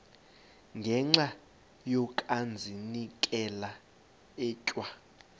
ngenxa yokazinikela etywa